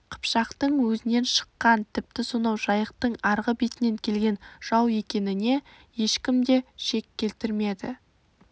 қыпшақтың өзінен шыққан тіпті сонау жайықтың арғы бетінен келген жау екеніне ешкім де шек келтірмеді